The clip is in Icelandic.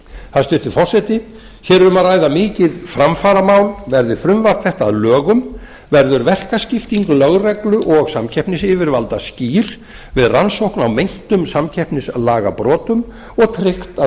hæstvirtur forseti hér er um að ræða mikið framfaramál verði frumvarp þetta að lögum verður verkaskipting lögreglu og samkeppnisyfirvalda skýr við rannsókn á meintum samkeppnislagabrotum og tryggt að